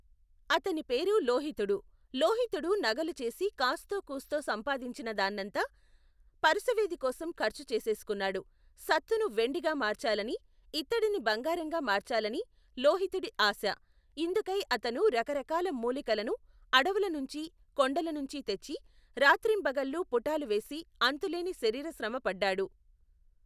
అతనిపేరు లోహితుడు. లోహితుడు నగలు చేసి కాస్తోకూస్తో సంపాదించినా దాన్నంతా, పరుసవేదికోసం ఖర్చు చేసేసుకున్నాడు. సత్తును వెండిగా మార్చాలనీ, ఇత్తడిని బంగారంగా మార్చాలనీ లోహితుడి ఆశ. ఇందుకై అతను రకరకాల మూలికలను అడువులనుంచీ, కొండల నుంచీ తెచ్చి, రాత్రింబగళ్ళు పుఠాలు వేసి అంతులేని శరీర శ్రమ పడ్డాడు.